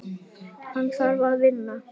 Hann þarf að vinna.